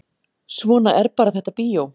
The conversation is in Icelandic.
Svona er bara þetta bíó